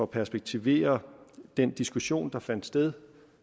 perspektivere den diskussion lidt der fandt sted